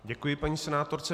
Děkuji paní senátorce.